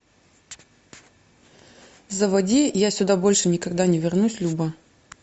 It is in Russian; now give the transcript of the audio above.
заводи я сюда больше никогда не вернусь люба